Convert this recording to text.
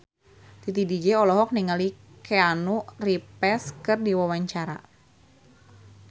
Titi DJ olohok ningali Keanu Reeves keur diwawancara